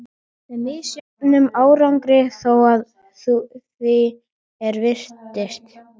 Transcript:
Með misjöfnum árangri þó, að því er virtist.